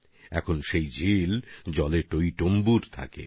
এখন এই হ্রদ জলে ভরে থাকে